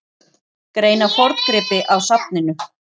Greina forngripi á safninu